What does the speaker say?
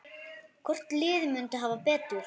Hvort liðið myndi hafa betur?